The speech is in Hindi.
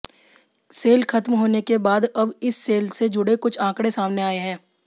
सेल खत्म होने के बाद अब इस सेल से जुड़े कुछ आंकड़े सामने आए हैं